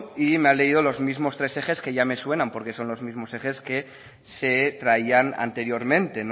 y me ha leído los mismo tres ejes que ya me suenan porque son los mismos ejes que se traían anteriormente